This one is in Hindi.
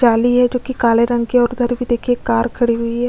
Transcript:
जाली है जो कि काले रंग की हैं और उधर भी देखिए कार खड़ी हुई है।